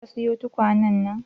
Ka siyi tukwanan?